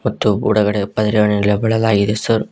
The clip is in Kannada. ಒಳಗಡೆ ಪರದೆಗಳನ್ನು ಬಿಡಲಾಗಿದೆ ಸರ್ .